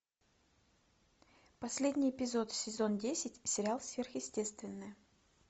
последний эпизод сезон десять сериал сверхъестественное